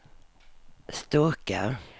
Sturkö